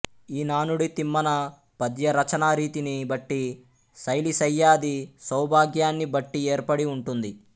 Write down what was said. ఈ నానుడి తిమ్మన పద్యరచనారీతిని బట్టి శైలీశయ్యాది సౌభాగ్యాన్ని బట్టి ఏర్పడి ఉంటుంది